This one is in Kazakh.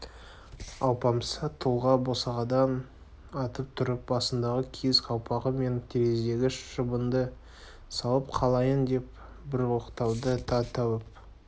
алпамса тұлға босағадан атып тұрып басындағы киіз қалпағы мен терезедегі шыбынды салып қалайын деп бір оқталды да тәуіп